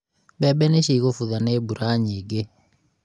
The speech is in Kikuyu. mbembe nicigũbutha nĩ mbura nyingĩ